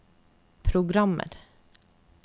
programmer